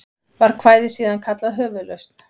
Var kvæðið síðan kallað Höfuðlausn.